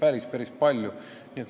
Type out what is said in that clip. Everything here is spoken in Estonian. Eesti ülikoolid on ju suured.